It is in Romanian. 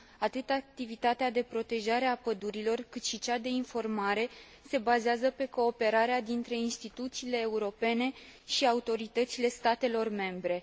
Atât activitatea de protejare a pădurilor, cât și cea de informare se bazează pe cooperarea dintre instituțiile europene și autoritățile statelor membre.